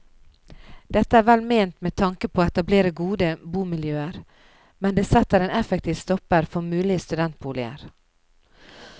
Dette er vel ment med tanke på å etablere gode boligmiljøer, men det setter en effektiv stopper for mulige studentboliger.